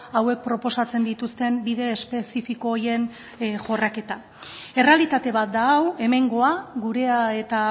hauek proposatzen dituzten bide espezifiko horien jorraketa errealitate bat da hau hemengoa gurea eta